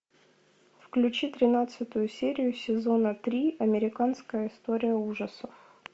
включи тринадцатую серию сезона три американская история ужасов